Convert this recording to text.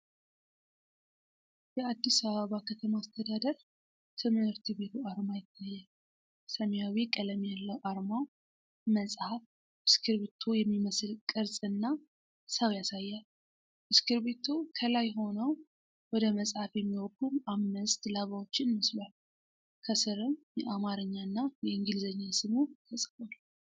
የአዲስ አበባ ከተማ አስተዳደር ትምህርት ቢሮ አርማ ይታያል። ሰማያዊ ቀለም ያለው አርማው መጽሐፍ፣ እስክርቢቶ የሚመስል ቅርጽ እና ሰው ያሳያል። እስክርቢቶው ከላይ ሆነው ወደ መጽሐፉ የሚወርዱ አምስት ላባዎችን መስሏል። ከስርም የአማርኛና የእንግሊዝኛ ስሙ ተጽፏል።